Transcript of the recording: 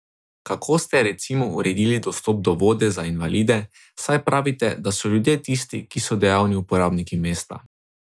Kako ste, recimo, uredili dostop do vode za invalide, saj pravite, da so ljudje tisti, ki so dejavni uporabniki mesta?